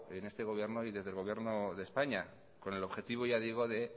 en este gobierno y desde el gobierno de españa con el objetivo ya digo de